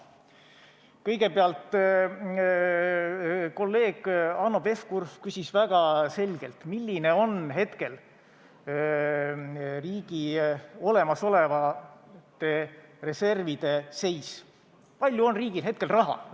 Kõigepealt, kolleeg Hanno Pevkur küsis väga selgelt, milline on hetkel riigi olemasolevate reservide seis – kui palju on riigil hetkel raha?